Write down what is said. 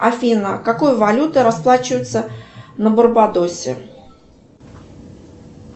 афина какой валютой расплачиваются на барбадосе